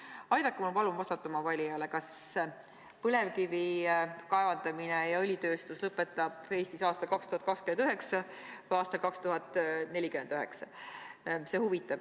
Palun aidake mul vastata oma valijatele, kas põlevkivi kaevandamise ja õlitööstuse lõpp on Eestis aastal 2029 või aastal 2049!